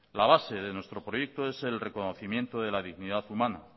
la base de nuestro proyecto es el reconocimiento de la dignidad humana